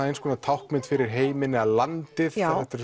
eins konar táknmynd fyrir heiminn eða landið